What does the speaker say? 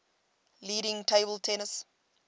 leading table tennis